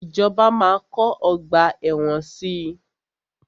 Ìjọba máa kọ́ ọgbà ẹ̀wọ̀n si.